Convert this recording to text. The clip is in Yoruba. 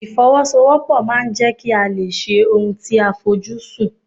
Ìfọwọ́sowọ́pọ̀ máà ń jẹ́ kí a lè ṣe ohun tí a fojú sùn.